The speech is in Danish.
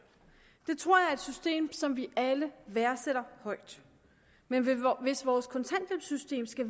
det tror jeg system som vi alle værdsætter højt men hvis vores kontanthjælpssystem skal